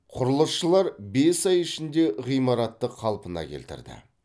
құрылысшылар бес ай ішінде ғимаратты қалпына келтірді